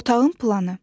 Otağın planı.